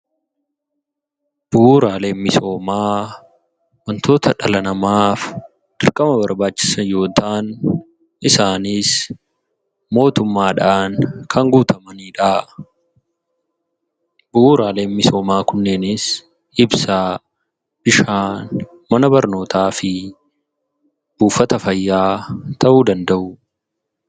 Bu'uuraaleen misooma wantoota dhala namaaf dirqama barbaachisan yoo ta'an, isaanis mootuummadhaan kan guutamanidha. bu'uuraleen misooma kunneenis Ibsa, Bishaan, Mana barnoota fi buufata fayya ta'u danda'u.